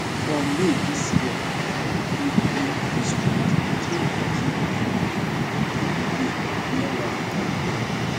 for may dis year for hooghly district three pikin dem dey play near one pond